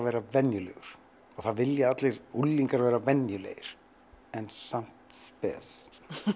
vera venjulegur og það vilja allir unglingar vera venjulegir en samt spes